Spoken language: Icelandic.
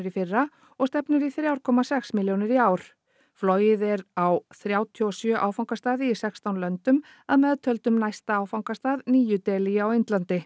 í fyrra og stefnir í þrjú komma sex milljónir í ár flogið er á þrjátíu og sjö áfangastaði í sextán löndum að meðtöldum næsta áfangastað nýju Delí á Indlandi